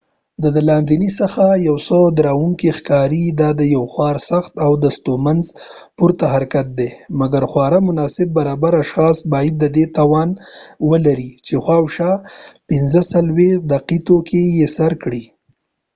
دا د لاندې څخه یو څه ډاروونکی ښکاري، او دا یو خورا سخت او ستونزمن پورته حرکت دی، مګر خورا مناسب برابر اشخاص باید د دې توان ولري چې شاوخوا ۴۵ دقیقو کې یې سر کړي